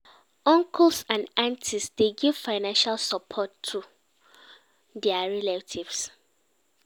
Uncles and aunties dey give financial support too to their relative